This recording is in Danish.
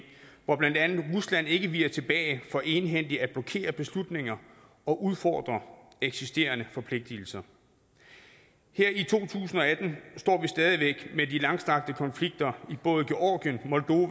hvor blandt andet rusland ikke viger tilbage fra egenhændigt at blokere beslutninger og udfordre eksisterende forpligtigelser her i to tusind og atten står vi stadig væk med de langstrakte konflikter i både georgien